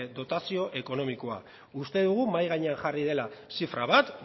dotazio ekonomikoa uste dugu mahai gainean jarri dela zifra bat